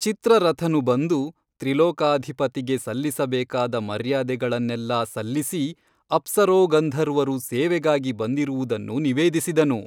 ಚಿತ್ರರಥನು ಬಂದು ತ್ರಿಲೋಕಾಧಿಪತಿಗೆ ಸಲ್ಲಿಸಬೇಕಾದ ಮರ್ಯಾದೆಗಳನ್ನೆಲ್ಲಾ ಸಲ್ಲಿಸಿ ಅಪ್ಸರೋಗಂಧರ್ವರು ಸೇವೆಗಾಗಿ ಬಂದಿರುವುದನ್ನು ನಿವೇದಿಸಿದನು.